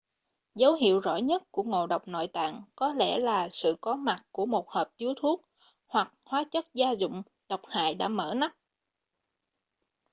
dấu hiệu rõ nhất của ngộ độc nội tạng có lẽ là sự có mặt của một hộp chứa thuốc hoặc hóa chất gia dụng độc hại đã mở nắp